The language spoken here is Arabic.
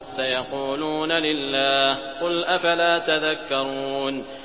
سَيَقُولُونَ لِلَّهِ ۚ قُلْ أَفَلَا تَذَكَّرُونَ